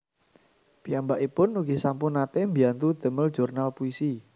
Piyambakipun ugi sampun naté mbiyantu damel jurnal puisi